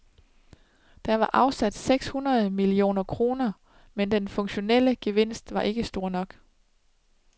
Der var afsat seks hundrede millioner kroner, men den funktionelle gevinst var ikke stor nok.